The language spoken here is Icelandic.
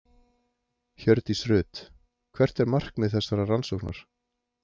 Hjördís Rut: Hvert er markmið þessarar rannsóknar?